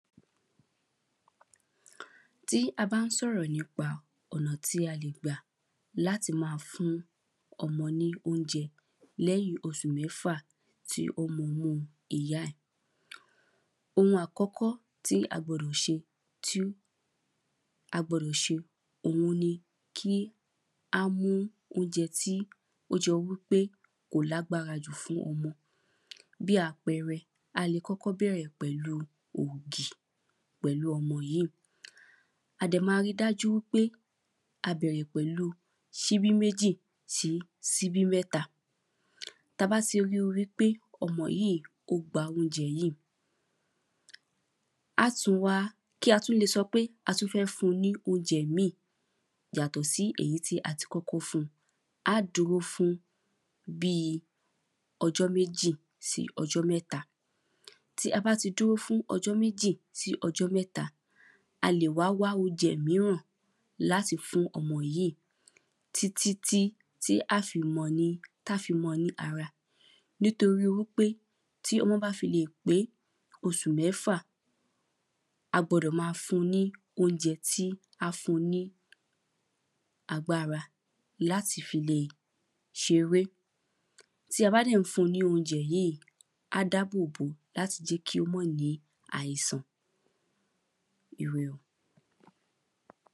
Tí a bá ń sọ̀rọ̀ nípa ọ̀nà tí a lè gbà láti má a fún ọmọ ní óúnjẹ lẹ́yìn osù mẹ́fà tí ó mumú ìyá ẹ̀. Ohun àkọ́kọ́ tí a gbọdọ̀ ṣe tí a gbọdọ̀ ṣe òhun ni kí á mú óúnjẹ tí ó jẹ́ wípé kò lágbára jù fún ọmọ. Bí àpẹrẹ, a le kọ́kọ́ bẹ̀rẹ̀ pẹ̀lu ògì pẹ̀lu ọmọ yíì. A dẹ̀ ma ri dájú wípé a bẹ̀rẹ̀ pẹ̀lu síbí méjì sí síbí mẹ́ta. Ta bá ti rí i wípé ọmọ yíì kó gba oúnjẹ yíì. Á tún wá kí á tún le sọ pé a tún fẹ́ fún-un ní óúnjẹ míì yàtọ̀ sí èyí tí a ti kọ́kọ́ fún-un. Á dúró fún bíi ọjọ́ méjì sí ọjọ́ mẹ́ta. Tí a bá ti dúró fún ọjọ́ méjì sí ọjọ́ mẹ́ta, a lè wá wá oúnjẹ míràn láti fún ọmọ yíì. Tí tí tí tí á fi mọ́-ọn ní tá fi mọ́-ọn ní ara. Nítorí wípé tí ọmọ́ bá fi lè pé osù mẹ́fà, a gbọdọ̀ ma fun ní oúnjẹ tí á fún-un ní agbára láti fi lè ṣeré. Tí a bá dẹ̀ ń fun ní oúnjẹ yíì, á dábò bó láti jé kí ó má ní àisàn. Ire o.